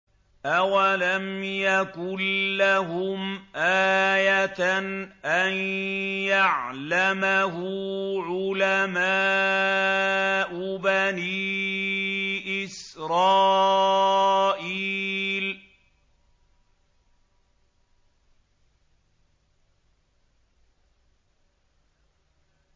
أَوَلَمْ يَكُن لَّهُمْ آيَةً أَن يَعْلَمَهُ عُلَمَاءُ بَنِي إِسْرَائِيلَ